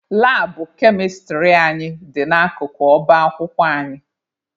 Labụ kemịstrị anyị dị n'akụkụ ọba akwụkwọ anyị.